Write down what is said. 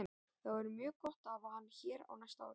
Það væri mjög gott að hafa hann hér á næsta ári.